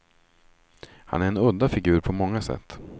Han är en udda figur på många sätt.